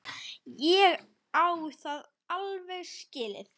Ég á það alveg skilið.